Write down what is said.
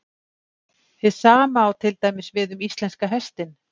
Hið sama á til dæmis við um íslenska hestinn.